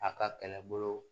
A ka kɛlɛbolo